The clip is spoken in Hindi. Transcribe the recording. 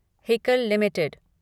Haeckel limited